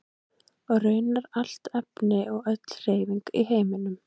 og raunar allt efni og öll hreyfing í heiminum